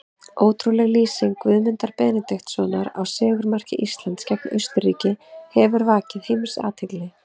Ótrúleg lýsing Guðmundar Benediktssonar á sigurmarki Íslands gegn Austurríki hefur vakið heimsathygli.